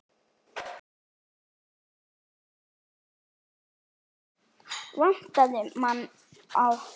Vantar mann í bolta?